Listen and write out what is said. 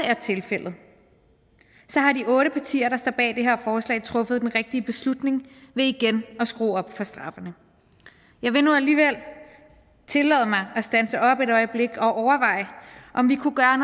er tilfældet har de otte partier der står bag det her forslag truffet den rigtige beslutning ved igen at skrue op for straffene jeg vil nu alligevel tillade mig at standse op et øjeblik og overveje om vi kunne gøre